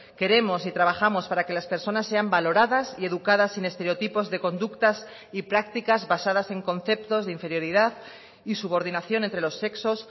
queremos y trabajamos para que las personas sean valoradas y educadas sin estereotipos de conductas y prácticas basadas en conceptos de inferioridad y subordinación entre los sexos